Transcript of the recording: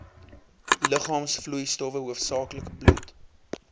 liggaamsvloeistowwe hoofsaaklik bloed